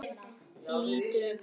Lítur undan.